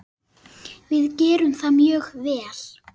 Við gerðum það mjög vel.